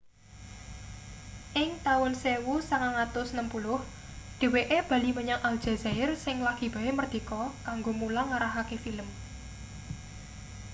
ing taun 1960 dheweke bali menyang aljazair sing lagi bae mardika kanggo mulang ngarahake film